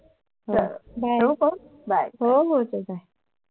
हो हो चल Bye